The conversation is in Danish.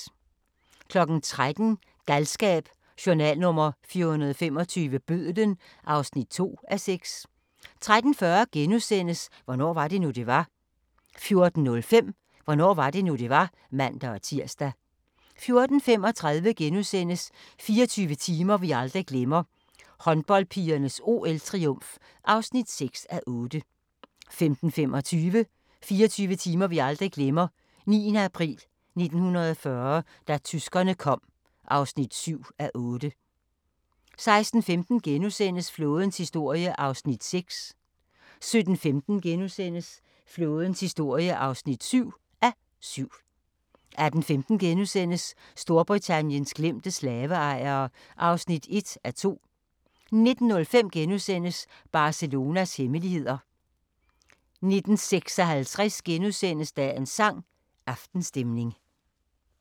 13:00: Galskab: Journal nr. 425 – Bødlen (2:6) 13:40: Hvornår var det nu, det var? * 14:05: Hvornår var det nu, det var? (man-tir) 14:35: 24 timer vi aldrig glemmer: Håndboldpigernes OL-triumf (6:8)* 15:25: 24 timer vi aldrig glemmer: 9. april 1940 – da tyskerne kom (7:8) 16:15: Flådens historie (6:7)* 17:15: Flådens historie (7:7)* 18:15: Storbritanniens glemte slaveejere (1:2)* 19:05: Barcelonas hemmeligheder * 19:56: Dagens sang: Aftenstemning *